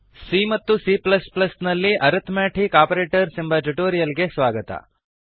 C ಮತ್ತು C plus ಪ್ಲಸ್ಸಿಎ ನಲ್ಲಿಅರಿಥ್ಮೆಟಿಕ್ ಆಪರೇಟರ್ಸ್ ಎಂಬ ಟ್ಯುಟೋರಿಯಲ್ ಗೆ ಸ್ವಾಗತ